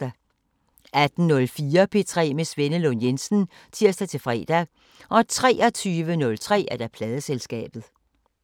18:04: P3 med Svenne Lund Jensen (tir-fre) 23:03: Pladeselskabet